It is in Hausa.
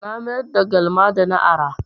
Na mayar da galma da na ara.